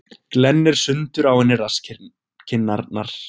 Glennir sundur á henni rasskinnarnar.